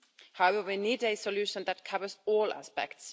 However, we need a solution that covers all aspects.